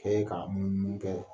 k'an munu munun kɛ.